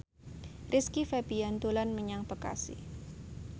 Rizky Febian dolan menyang Bekasi